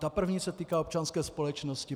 Ta první se týká občanské společnosti.